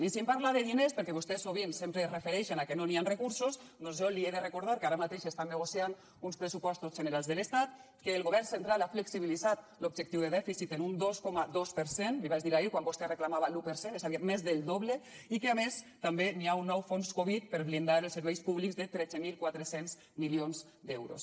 i si em parla de diners perquè vostès sovint sempre es refereixen a que no hi han recursos doncs jo li he de recordar que ara mateix s’estan negociant uns pressupostos generals de l’estat que el govern central ha flexibilitzat l’objectiu de dèficit en un dos coma dos per cent l’hi vaig dir ahir quan vostè reclamava l’un per cent és a dir més del doble i que a més també hi ha un nou fons covid per blindar els serveis públics de tretze mil quatre cents milions d’euros